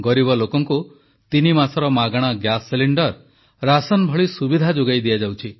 ଗରିବ ଲୋକଙ୍କୁ ତିନି ମାସର ମାଗଣା ଗ୍ୟାସ୍ ସିଲିଣ୍ଡର୍ ରାସନ ଭଳି ସୁବିଧା ଯୋଗାଇ ଦିଆଯାଉଛି